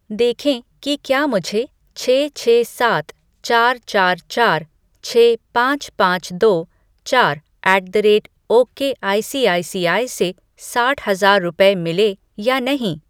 देखें कि क्या मुझे छः छः सात चार चार चार छः पाँच पाँच दो चार ऐट द रेट ओकेआईसीआईसीआई से साठ हजार रुपये मिले या नहीं ।